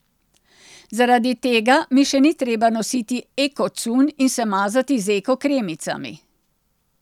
Zaradi tega mi še ni treba nositi eko cunj in se mazati z eko kremicami.